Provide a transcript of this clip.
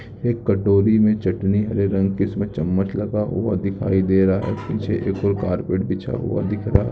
एक कटोरी में चटनी हरे रंग की इसमें चम्मच लगा हुआ दिखाई दे रहा है नीचे एक कारपेट बिछा हुआ दिख रहा है।